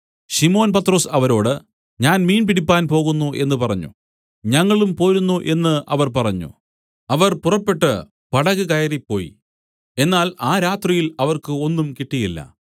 ശിമോൻ പത്രൊസ് അവരോട് ഞാൻ മീൻ പിടിപ്പാൻ പോകുന്നു എന്നു പറഞ്ഞു ഞങ്ങളും പോരുന്നു എന്നു അവർ പറഞ്ഞു അവർ പുറപ്പെട്ടു പടക് കയറി പോയി എന്നാൽ ആ രാത്രിയിൽ അവർക്ക് ഒന്നും കിട്ടിയില്ല